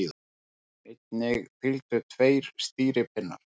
Einnig fylgdu tveir stýripinnar.